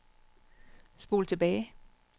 spol tilbage